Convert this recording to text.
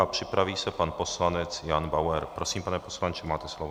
A připraví se pan poslanec Jan Bauer. Prosím, pane poslanče, máte slovo.